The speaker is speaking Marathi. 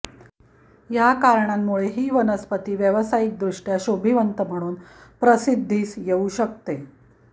या कारणांमुळे ही वनस्पती व्यावसायिकदृष्ट्या शोभिवंत म्हणून प्रसिद्धीस येऊ शकते